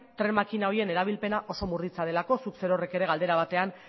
tren makina horien erabilpena oso murritza delako zuk zerorrek galdera batean